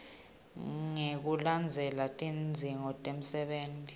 ngekulandzela tidzingo temsebenti